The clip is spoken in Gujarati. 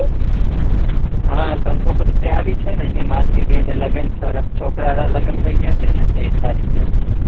હા કંકોત્રી આવી છે ને હેમાંગી બેન ને છોરા છોકરા ના લગન થઇ ગયા છે ને ત્રેવીસ તારીખ ના